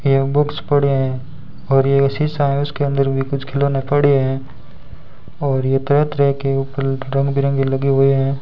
ये बुक्स पड़े हैं और ये एक शीशा है उसके अंदर भी कुछ खिलौने पड़े हैं और ये तरह-तरह के ऊपर रंग बिरंगे लगे हुए हैं।